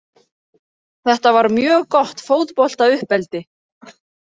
Þetta var mjög gott fótbolta uppeldi.